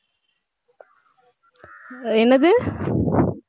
என்னது